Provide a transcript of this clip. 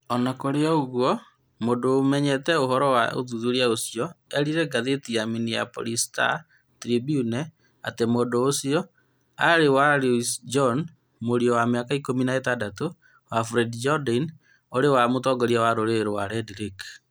O na kũrĩ ũguo, mũndũ ũmenyete ũhoro wa ũthuthuria ũcio eerire ngathĩti ya Minneapolis Star-Tribune atĩ mũndũ ũcio warĩ Louis Jourdain, mũriũ wa mĩaka ikũmi na ĩtandatũ wa Floyd Jourdain ũrĩa warĩ mũtongoria wa rũrĩrĩ rwa Red Lake.